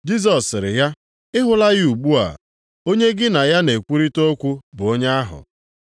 Jisọs sịrị ya, “Ị hụla ya ugbu a; onye gị na ya na-ekwurịta okwu bụ onye ahụ.”